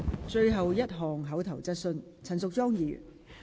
最後一項口頭質詢。